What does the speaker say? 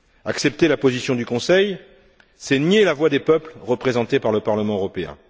Accepter la position du Conseil, c'est nier la voix des peuples représentés par le Parlement européen.